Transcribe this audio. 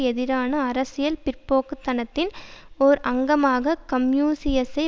எதிரான அரசியல் பிற்போக்குத்தனத்தின் ஓர் அங்கமாக கன்பூசியசை